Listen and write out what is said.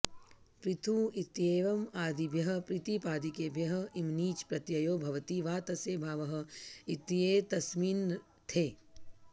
पृथु इत्येवम् आदिभ्यः प्रातिपदिकेभ्यः इमनिच् प्रत्ययो भवति वा तस्य भावः इत्येतस्मिन्नर्थे